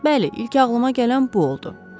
Bəli, ilk ağılıma gələn bu oldu.